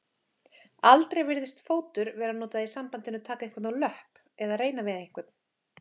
Aldrei virðist fótur vera notað í sambandinu taka einhvern á löpp reyna við einhvern.